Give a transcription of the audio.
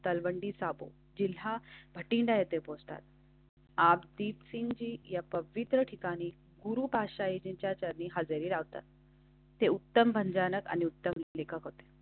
तलवंडी साबो जिल्हा भटिंडा हे पोस्टर. आप दीपसिंह जी या पवित्र ठिकाणी गुरु भाषेच्या चरणी हजेरी लावतात. ते उत्तम भंजन आणि उत्तम लेखक.